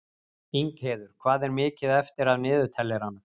Ingheiður, hvað er mikið eftir af niðurteljaranum?